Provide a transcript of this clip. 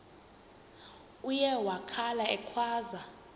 uye wakhala ekhwaza